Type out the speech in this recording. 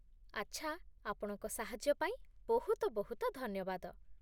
ଆଚ୍ଛା, ଆପଣଙ୍କ ସାହାଯ୍ୟ ପାଇଁ ବହୁତ ବହୁତ ଧନ୍ୟବାଦ ।